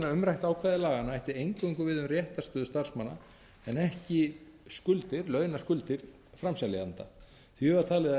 umræðu ákvæði laganna ætti eingöngu við um réttarstöðu starfsmanna en ekki skuldir launaskuldir framseljanda því var talið að